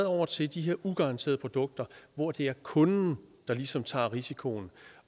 over til de her ugaranterede produkter hvor det er kunden der ligesom tager risikoen